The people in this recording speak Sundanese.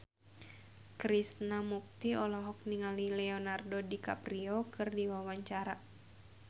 Krishna Mukti olohok ningali Leonardo DiCaprio keur diwawancara